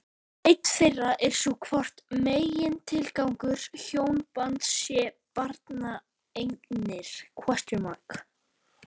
Ein þeirra er sú hvort megintilgangur hjónabands sé barneignir?